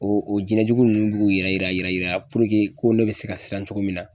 O o jinɛjugu nunnu b'u k'u yɛrɛ yira yira yira puruke ko ne bɛ se ka siran cogo min na.